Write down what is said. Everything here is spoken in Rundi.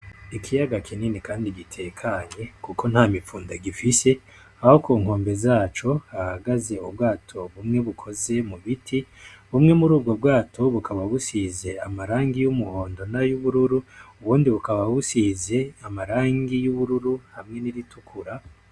Ikiyaga kinini kandi gitekanye kuko ntamifunda gifise aho kunkombe zaco hahagaze ubwato bumwe bukoze mu biti bumwe murubwo bwato bukaba busize amarangi y'umuhondo nayubururu ubundi bukaba busize amarangi y'ubururu hamwe n'iritukura.